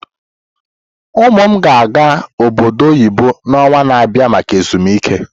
Ụmụ m ga-aga obodo oyibo n'ọnwa na-abịa maka ezumike.